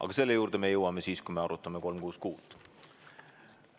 Aga selle juurde me jõuame siis, kui me arutame eelnõu 366.